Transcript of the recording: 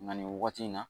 Nka nin wagati in na